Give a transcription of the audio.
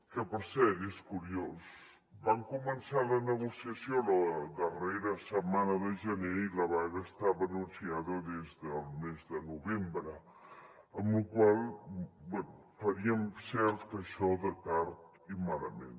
que per cert és curiós van començar la negociació la darrera setmana de gener i la vaga estava anunciada des del mes de novembre amb la qual cosa bé faríem cert això de tard i malament